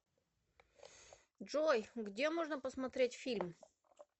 джой где можно посмотреть фильм